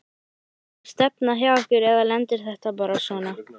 Er þetta stefna hjá ykkur eða lendir þetta bara svona?